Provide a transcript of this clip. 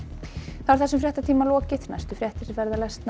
þessum fréttatíma er lokið næstu fréttir verða